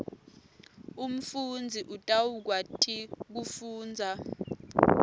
umfundzi utawukwati kufundza